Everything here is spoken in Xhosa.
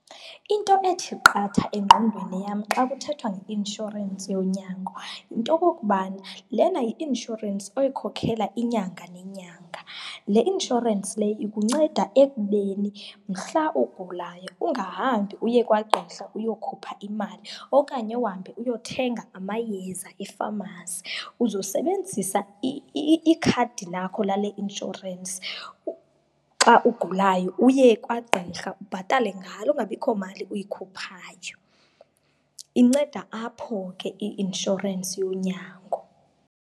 Into ethi qatha engqondweni yam xa kuthethwa nge-insurance yonyango yinto yokuba, le yi-insurance oyikhokela inyanga nenyanga. Le insurance le ikunceda ekubeni mhla ugulayo ungahambi uye kwagqirha uyokhupha imali okanye uhambe uyothenga amayeza e-pharmacy, uzosebenzisa ikhadi lakho lale insurance xa ugulayo. Uye kwagqirha ubhatale ngalo, kungabikho mali uyikhuphayo. Inceda apho ke i-insurance yonyango.